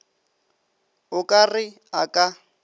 o ka re a ka